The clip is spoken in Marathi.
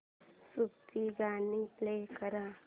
सूफी गाणी प्ले कर